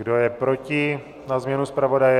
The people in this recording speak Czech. Kdo je proti na změnu zpravodaje?